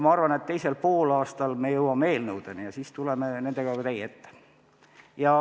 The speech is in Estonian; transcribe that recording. Ma arvan, et teisel poolaastal jõuame ka eelnõudeni ja siis tuleme nendega teie ette.